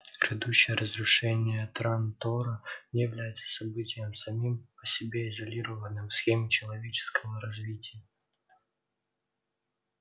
грядущее разрушение трантора не является событием самим по себе изолированным в схеме человеческого развития